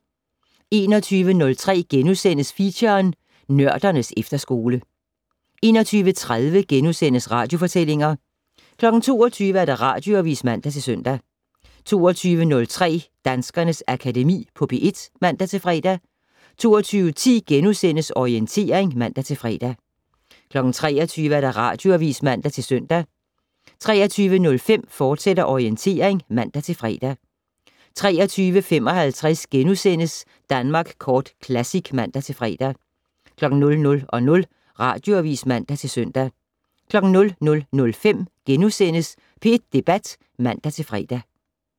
21:03: Feature: Nørdernes efterskole * 21:30: Radiofortællinger * 22:00: Radioavis (man-søn) 22:03: Danskernes Akademi på P1 (man-fre) 22:10: Orientering *(man-fre) 23:00: Radioavis (man-søn) 23:05: Orientering, fortsat (man-fre) 23:55: Danmark Kort Classic *(man-fre) 00:00: Radioavis (man-søn) 00:05: P1 Debat *(man-fre)